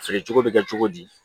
Feere cogo bɛ kɛ cogo di